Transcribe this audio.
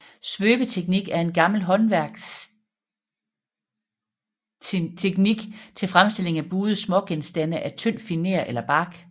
Svøbeteknik er en gammel håndværksteknik til fremstilling af buede smågenstande af tynd finer eller bark